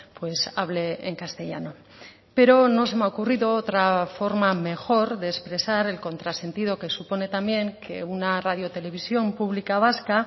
pues hable en castellano pero no se me ha ocurrido otra forma mejor de expresar el contrasentido que supone también que una radio televisión pública vasca